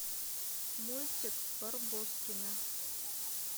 мультик барбоскины